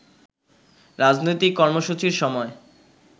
রাজনৈতিক কর্মসূচির সময়